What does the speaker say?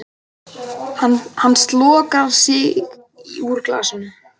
Hann slokrar í sig úr glasinu.